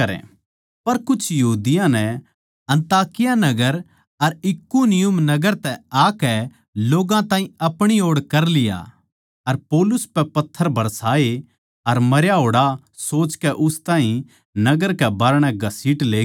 पर कुछ यहूदियाँ नै अन्ताकिया नगर अर इकुनियुम नगर तै आकै लोग्गां ताहीं अपणी ओड़ कर लिया अर पौलुस पै पत्थर बरसाए अर मरया होड़ सोचकै उस ताहीं नगर कै बाहरणै घसीट लेगे